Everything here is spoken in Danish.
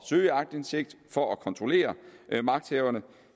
søge aktindsigt for at kontrollere magthaverne